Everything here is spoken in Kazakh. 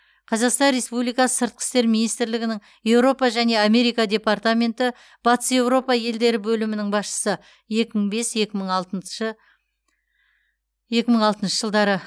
қазақстан республикасы сыртқы істер министрлігінің еуропа және америка департаменті батыс еуропа елдері бөлімінің басшысы екі мың бес екі мың алтыншы екі мың алтыншы жылдары